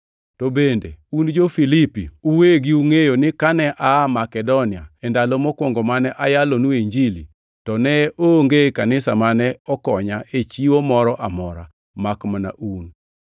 To bende un jo-Filipi uwegi ungʼeyo ni kane aa Makedonia e ndalo mokwongo mane ayalonue Injili, to ne onge kanisa mane okonya e chiwo moro amora, makmana un;